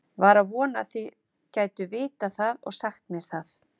Var að vona þið gætuð vitað það og sagt mér það.